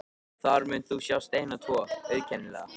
Þar munt þú sjá steina tvo, auðkennilega.